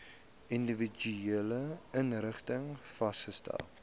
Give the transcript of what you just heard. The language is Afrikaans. individuele inrigtings vasgestel